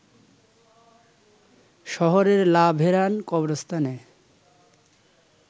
শহরের লা ভেরান কবরস্থানে